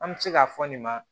An bɛ se k'a fɔ nin ma